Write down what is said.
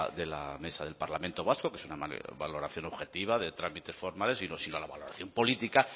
de la mesa del parlamento vasco que es una valoración objetiva de trámites formales sino la valoración política